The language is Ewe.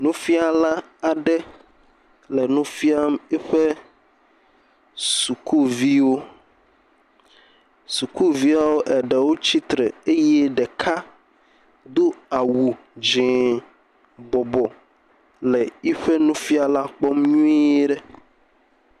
Nufiala aɖe le nufiam eƒe sukuviwo sukuviawo eɖewo tsitre eye ɖeka do awu dzié bɔbɔ le yeƒe nufiala kpɔm nyuie.